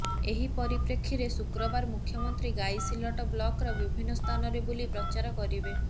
ଏହି ପରିପ୍ରେକ୍ଷୀରେ ଶୁକ୍ରବାର ମୁଖ୍ୟମନ୍ତ୍ରୀ ଗାଇସିଲଟ ବ୍ଲକ୍ର ବିଭିନ୍ନ ସ୍ଥାନରେ ବୁଲି ପ୍ରଚାର କରିବେ